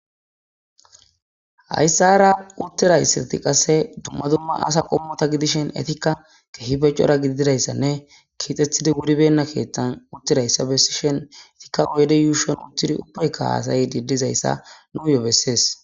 Haysara uttidaysati qase duma duma asa qommo gidoshin etika keehippe cora gididaysanne keexetidi wuribeyna keethan uttidaysa besishin etika oydde yushon uttidi ubbauka hasayidi dizaysa nuyo besses